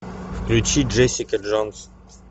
включи джессика джонс